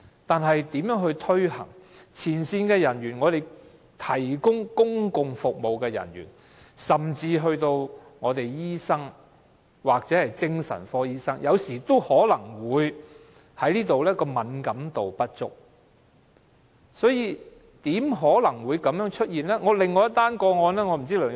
但是，問題是如何向前線人員、提供公共服務的人員，甚至醫生或精神科醫生推廣這種服務，避免他們對這方面的敏感度不足？